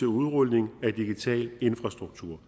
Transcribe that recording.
udrulning af digital infrastruktur